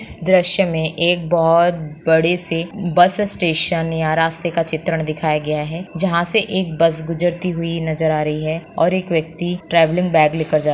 दृश्य मे एक बहुत बड़े से बस स्टेशन या रास्ते का चित्रण दिखाया गया है जहां से एक बस गुजरती हुई नजर आ रही है और एक व्यक्ति ट्रैवलिंग बैग लेकर जा --